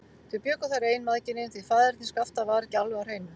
Þau bjuggu þar ein, mæðginin, því faðerni Skapta var ekki alveg á hreinu.